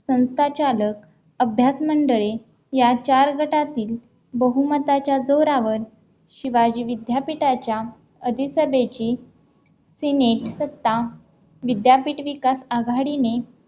संताचालक अभ्यास मंडळे या चार गटातील बहुमताच्या जोरावर शिवाजी विद्यापीठाच्या आधी सभेची सिनेट सत्ता विद्यापीठ विकास आघाडीने